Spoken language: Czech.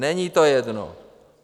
Není to jedno.